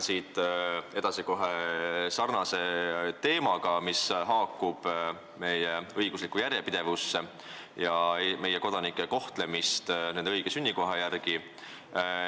Ma jätkan sarnase teemaga, mis haakub meie õigusliku järjepidevusega ja meie kodanike kohtlemisega nende õige sünnikoha järgi.